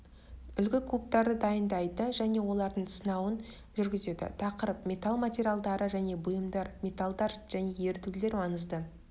үлгі кубтарды дайындайды және олардың сынауын жүргізеді тақырып металл материалдары және бұйымдар металлдар және ерітулер маңызды